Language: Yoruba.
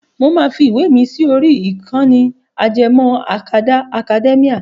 Mo máa fi ìwé mi sí orí ìkànnì ajẹmọ́ akadá Akademíà.